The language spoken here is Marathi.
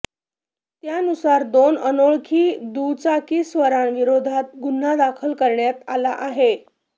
त्यानुसार दोन अनोळखी दुचाकीस्वारांविरोधात गुन्हा दाखल करण्यात आला आहे